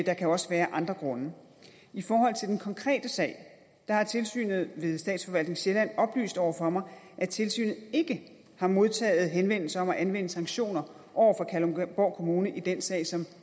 der kan også være andre grunde i forhold til den konkrete sag har tilsynet ved statsforvaltning sjælland oplyst over for mig at tilsynet ikke har modtaget henvendelser om at anvende sanktioner over for kalundborg kommune i den sag som